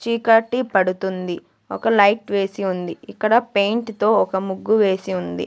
చీకటి పడుతుంది ఒక లైట్ వేసి ఉంది ఇక్కడ పెయింట్ తో ఒక ముగ్గు వేసి ఉంది.